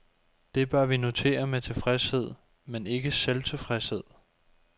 Det bør vi notere med tilfredshed, men ikke selvtilfredshed.